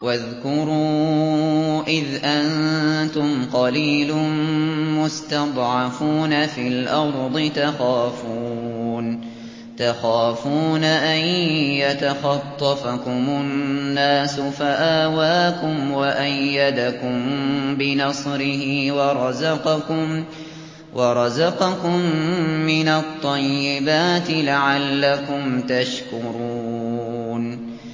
وَاذْكُرُوا إِذْ أَنتُمْ قَلِيلٌ مُّسْتَضْعَفُونَ فِي الْأَرْضِ تَخَافُونَ أَن يَتَخَطَّفَكُمُ النَّاسُ فَآوَاكُمْ وَأَيَّدَكُم بِنَصْرِهِ وَرَزَقَكُم مِّنَ الطَّيِّبَاتِ لَعَلَّكُمْ تَشْكُرُونَ